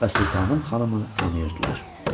Və sultanım xanımı tanıyırdılar.